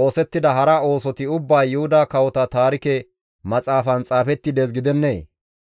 oosettida hara oosoti ubbay Yuhuda Kawota Taarike Maxaafan xaafetti dees gidennee?